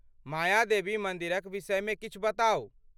मायादेवी मन्दिरक विषयमे किछु बताउ।